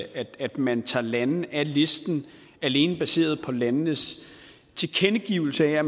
af at man tager lande af listen alene baseret på landenes tilkendegivelse af at